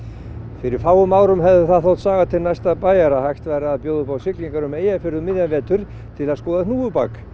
fyrir fáum árum hefði það þótt saga til næsta bæjar að hægt væri að bjóða upp á siglingar um Eyjafjörð um miðjan vetur til að skoða hnúfubak